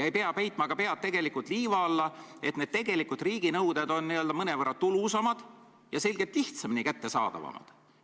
Ja ei maksa pead liiva alla peita: tegelikult on riigi nõuete sissenõudmine mõnevõrra tulusam, need on selgelt lihtsamini kättesaadavad.